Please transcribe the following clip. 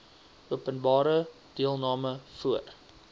openbare deelname voor